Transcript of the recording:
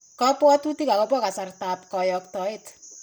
Kabwatutik akobo kasartab koyaktaet.